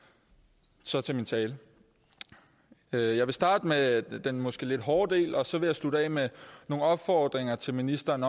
så til min tale jeg vil starte med den måske lidt hårde del og så vil jeg slutte af med nogle opfordringer til ministeren